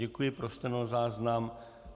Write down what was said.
Děkuji, pro stenozáznam.